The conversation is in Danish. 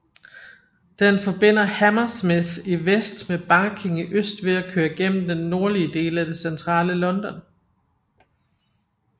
Den forbinder Hammersmith i vest med Barking i øst ved at køre gennem den nordlige del af det centrale London